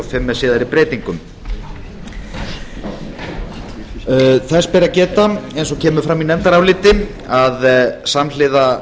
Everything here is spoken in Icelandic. fimm með síðari breytingum þess ber að geta eins og kemur fram í nefndaráliti að samhliða